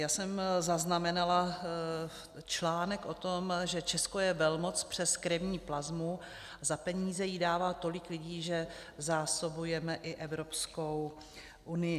Já jsem zaznamenala článek o tom, že Česko je velmoc přes krevní plazmu, za peníze ji dává tolik lidí, že zásobujeme i Evropskou unii.